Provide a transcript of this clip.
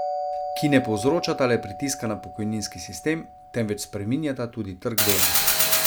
Ki ne povzročata le pritiska na pokojninski sistem, temveč spreminjata tudi trg dela.